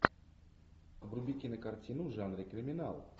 вруби кинокартину в жанре криминал